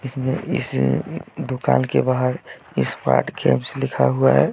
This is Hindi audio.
इस दुकान के बाहर इस्मार्ट लिखा हुआ है।